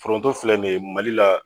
Foronto filɛ nin ye Mali la.